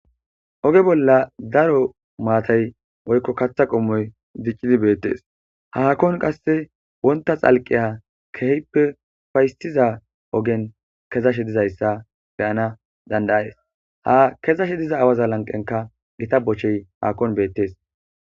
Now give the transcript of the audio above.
Oge bolla daro maatay woykko katha qommoy diccidi beettes haakon qasse wonta xalqiya kehippe ufaysiza ogen kezashe dizayssa beyana dandayaes ha kezashe diza awaza lanqenka gita bochchey haakon beettees.